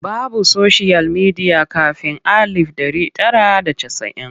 Babu soshiyal midiya kafin alif ɗari tara da casa'in.